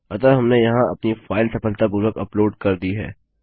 अतः हमने यहाँ अपनी फाइल सफलतापूर्वक अपलोड कर दी है